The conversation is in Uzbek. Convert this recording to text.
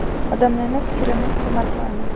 Odamlarning fikrini hurmat qilaman.